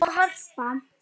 Árni og Harpa.